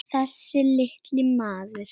Þessi litli maður.